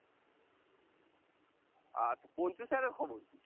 আচ্ছা পঞ্চু sir এর খবর কি?